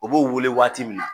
U b'u wele waati min na.